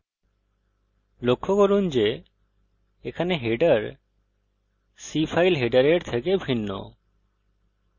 লক্ষ্য করুন যে এখানে হেডার c ফাইল হেডারের থেকে ভিন্ন